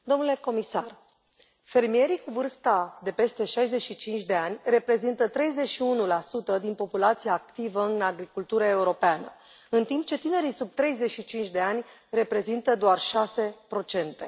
Domnule președinte, domnule comisar, fermierii cu vârsta de peste 65 de ani reprezintă 31 din populația activă în agricultura europeană, în timp ce tinerii sub 35 de ani reprezintă doar șase procente.